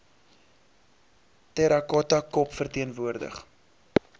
terracotta kop verteenwoordig